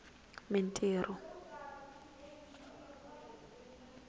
mintirho